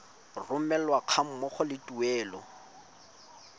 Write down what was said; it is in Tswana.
romelwa ga mmogo le tuelo